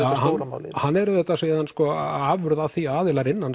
stóra málið hann er auðvitað síðan afurð af því að aðilar innan